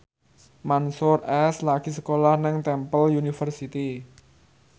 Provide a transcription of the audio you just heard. Mansyur S lagi sekolah nang Temple University